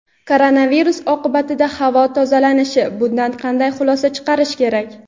Koronavirus oqibatida havo tozalanishi: bundan qanday xulosa chiqarish kerak?.